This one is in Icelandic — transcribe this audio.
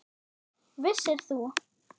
Vissir þú?